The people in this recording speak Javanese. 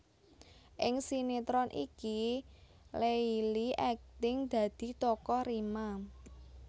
Ing sinetron iki Leily akting dadi tokoh Rima